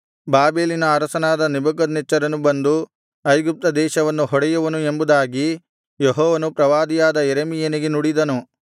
ಬಾಬೆಲಿನ ಅರಸನಾದ ನೆಬೂಕದ್ನೆಚ್ಚರನು ಬಂದು ಐಗುಪ್ತ ದೇಶವನ್ನು ಹೊಡೆಯುವನು ಎಂಬುದಾಗಿ ಯೆಹೋವನು ಪ್ರವಾದಿಯಾದ ಯೆರೆಮೀಯನಿಗೆ ನುಡಿದನು